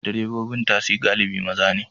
Direbobin tasi galibi maza ne.